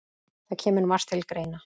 Það kemur margt til greina